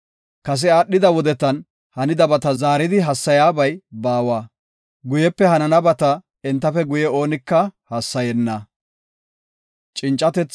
Kase aadhida wodetan hanidabata zaaridi hassayabay baawa; guyepe hananabata entafe guye oonika hassayenna.